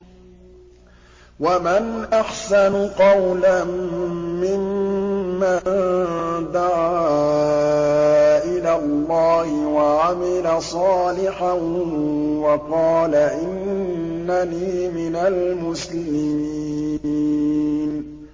وَمَنْ أَحْسَنُ قَوْلًا مِّمَّن دَعَا إِلَى اللَّهِ وَعَمِلَ صَالِحًا وَقَالَ إِنَّنِي مِنَ الْمُسْلِمِينَ